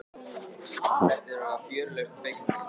Flestir verða fjörlausn fegnir.